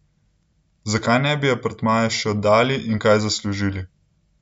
Zakaj ne bi apartmaja še oddali in kaj zaslužili?